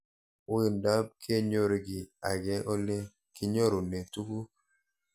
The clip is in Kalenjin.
Uindop kenyor kiy eng' ole kinyorune tuguk